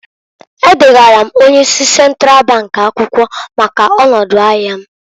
E degara m onye isi Sentral bank akwụkwọ maka ọnọdụ ahịa m.